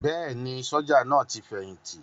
Bẹ́ẹ̀ni, sójà náà ti fẹ̀yìntì